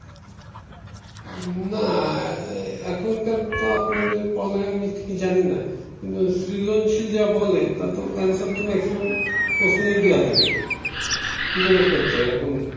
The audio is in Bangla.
না আহ এখনকার তো আপনাদের পড়ালেখা আমি ঠিক জানিনা কিন্তু সৃজনশীল যা বলে তাতো আনসারতো ম্যাক্সিমাম প্রশ্নেই দেয়া থাকে